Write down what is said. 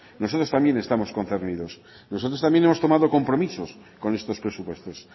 nosotros también estamos concernidos nosotros también hemos tomado compromisos con estos presupuestos